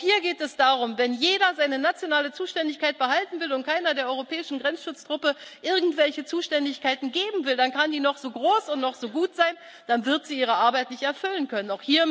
gut. Auch hier geht es darum Wenn jeder seine nationale Zuständigkeit behalten will und keiner der europäischen Grenzschutztruppe irgendwelche Zuständigkeiten geben will, dann kann die noch so groß und noch so gut sein, dann wird sie ihre Arbeit nicht erfüllen können.